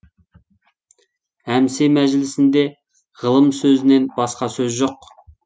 әмсе мәжілісінде ғылым сөзінен басқа сөз жоқ